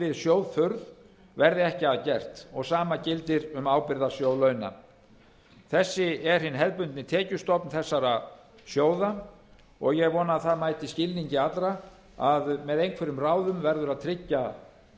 við sjóðþurrð verði ekkert að gert og sama gildir um ábyrgðarsjóð launa þessi er hinn hefðbundni tekjustofn þessara sjóða og ég vona að það mæti skilningi allra að með einhverjum ráðum verður að tryggja